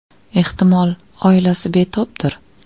Ehtimol, oilasi betobdir.